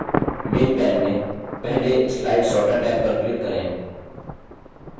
main main में पहले slide sorter tab पर click करें